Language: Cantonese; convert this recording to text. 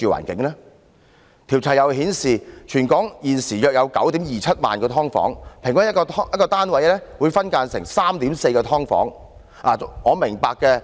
調查又顯示，全港現時約有 90,270 間"劏房"，平均一個單位分間成 3.4 間"劏房"。